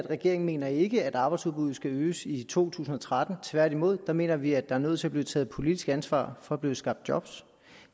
regeringen mener ikke at arbejdsudbuddet skal øges i to tusind og tretten tværtimod mener vi at der er nødt til at blive taget politisk ansvar for at blive skabt job